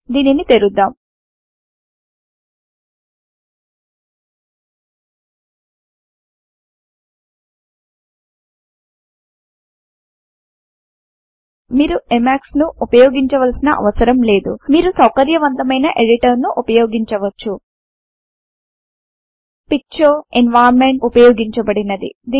దీనిని తెరుద్దాం మీరు ఎమాక్స్ ను ఉపయోగించవలసిన అవసరం లేదు మీరు సౌకర్యవంతమైన ఎడిటర్ ను ఉపయోగించవచ్చు పిక్చర్ ఎన్వైరన్మెంట్ ఉపయోగించబడినది